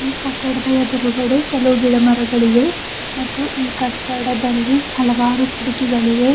ಈ ಕಟ್ಟಡದ ಎದುರುಗಡೆ ಕೆಲವು ಗಿಡ ಮರಗಳಿವೆ ಮತ್ತು ಈ ಕಟ್ಟಡದಲ್ಲಿ ಹಲವಾರು ಕಿಡಕಿಗಳಿವೆ.